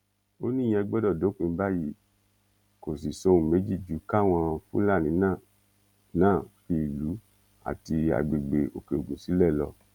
ó níyẹn gbọdọ dópin báyìí kò sì sóhun méjì ju káwọn fúlàní náà náà fi ìlú àti agbègbè òkèogun sílẹ lọ